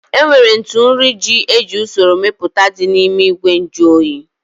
Enwere ntụ nri ji eji usoro mepụta dị n'ime ìgwè nju oyi